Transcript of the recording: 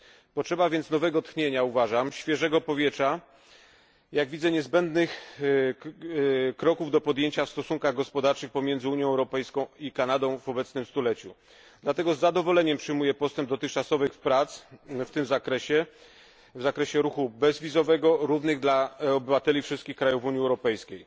Uważam więc, że potrzeba nowego tchnienia, świeżego powietrza jak widzę, niezbędnych kroków do podjęcia w stosunkach gospodarczych pomiędzy Unią Europejską i Kanadą w obecnym stuleciu. Dlatego z zadowoleniem przyjmuję postęp dotychczasowych prac w tym zakresie, w zakresie ruchu bezwizowego równego dla obywateli wszystkich państw Unii Europejskiej.